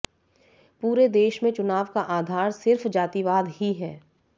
पूरे देश में चुनाव का आधार सिर्फ जातिवाद ही है